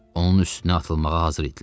Onun üstünə atılmağa hazır idilər.